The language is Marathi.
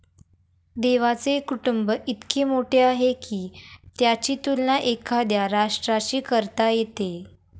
देवाचे कुटुंब इतके मोठे आहे की त्याची तुलना एखाद्या राष्ट्राशी करता येते.